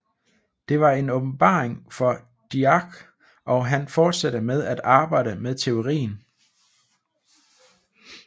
Det var en åbenbaring for Dirac og han fortsatte med at arbejde med teorien